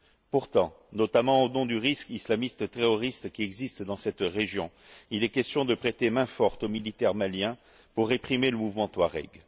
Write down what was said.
Pourtant, notamment au nom du risque islamiste terroriste qui existe dans cette région, il est question de prêter main forte aux militaires maliens pour réprimer le mouvement touareg.